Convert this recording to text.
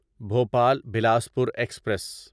Bhopal Bilaspur express